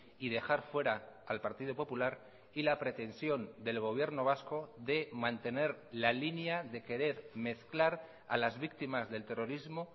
y dejar fuera al partido popular y la pretensión del gobierno vasco de mantener la línea de querer mezclar a las víctimas del terrorismo